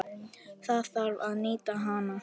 Það þarf að nýta hana.